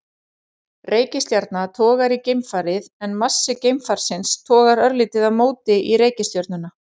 Reikistjarna togar í geimfarið en massi geimfarsins togar örlítið á móti í reikistjörnuna.